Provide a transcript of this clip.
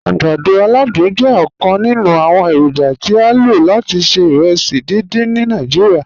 Agbàdọ̀ aládùn jẹ̀ ọkan nínu awọn èrójà tí a ló láti ṣẹ̀ ìrèsí díndín ni Nàìjíríà.